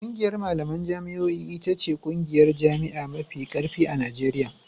ƙungiyar malaman jami'o'i ita ce ƙungiyar jami'a mafi ƙarfi a Najeriya.